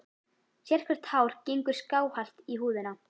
Sérhvert hár gengur skáhallt í húðina.